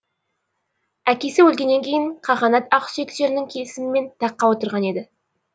әкесі өлгеннен кейін қағанат ақсүйектерінің келісімімен таққа отырған еді